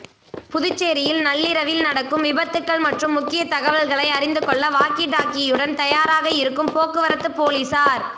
புதுச்சேரியில் நள்ளிரவில் நடக்கும் விபத்துக்கள் மற்றும் முக்கிய தகவல்களை அறிந்துகொள்ள வாக்கி டாக்கியுடன் தயாராக இருக்கும் போக்குவரத்து போலீசார்